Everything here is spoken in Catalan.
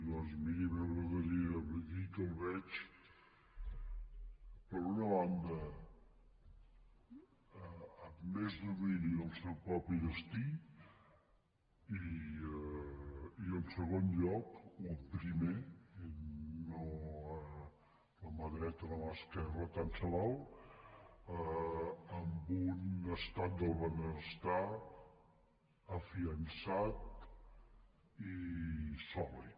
doncs miri a mi m’agradaria dir que el veig per una banda amb més domini del seu propi destí i en segon lloc o en primer o a mà dreta o a mà esquerra tant se val amb un estat del benestar refermat i sòlid